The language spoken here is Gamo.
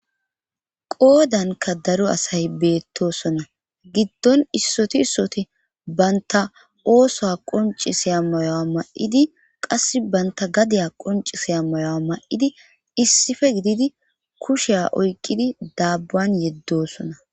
qoodanka daro asay beettosona giddon issoti issoti banta oosow qoncisiya mayowa ma'idi qas banta gadiya qoncisi ammayowa ma'idi issife gididi kusheya oyqqidi daabban yeddosona